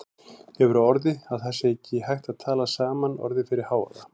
Hefur á orði að það sé ekki hægt að tala saman orðið fyrir hávaða.